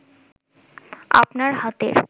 আপনার হাতের